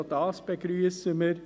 Auch das begrüssen wir.